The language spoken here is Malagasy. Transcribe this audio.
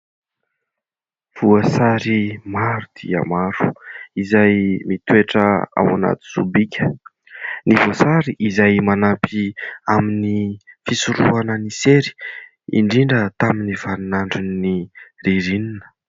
Voasary maro dia maro izay mitoetra ao anaty sobika. Ny voasary izay manampy amin'ny fisorohana ny sery indrindra tamin'ny vanin'andron'ny ririnina.